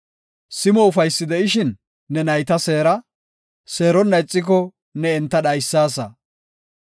Simo ufaysi de7ishin ne nayta seera; seeronna ixiko, ne enta dhaysaasa.